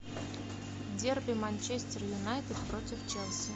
дерби манчестер юнайтед против челси